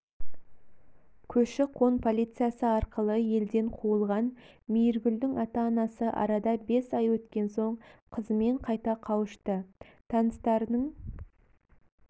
көші-қон полициясы арқылы елден қуылған мейіргүлдің ата-анасы арада бес ай өткен соң қызымен қайта қауышты таныстарының